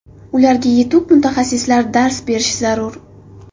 Ularga yetuk mutaxassislar dars berishi zarur.